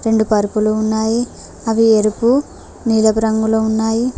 రెండు పరుపులు ఉన్నాయి అవి ఎరుపు నీలాపు రంగులో ఉన్నాయి.